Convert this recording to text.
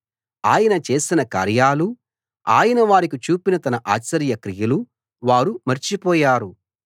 ఆయన చేసిన కార్యాలూ ఆయన వారికి చూపిన తన ఆశ్చర్య క్రియలూ వారు మర్చి పోయారు